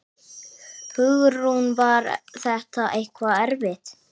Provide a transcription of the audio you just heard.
Hugrún: Var þetta eitthvað erfitt?